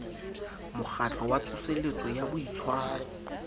mokgatlo wa tsoseletso ya boitshwaro